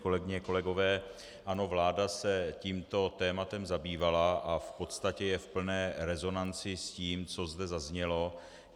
Kolegyně, kolegové, ano, vláda se tímto tématem zabývala a v podstatě je v plné rezonanci s tím, co zde zaznělo.